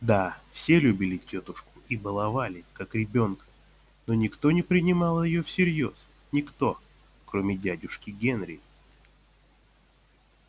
да все любили тётушку и баловали как ребёнка но никто не принимал её всерьёз никто кроме дядюшки генри